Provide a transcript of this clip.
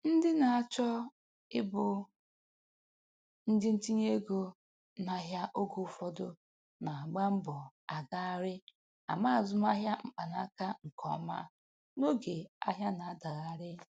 Ndị na-achọ ịbụ ndị ntinye ego n'ahịa oge ụfọdụ na-agba mbọ agagharị ama azụmahịa .mkpanaka nke ọma n'oge ahịa na-adagharị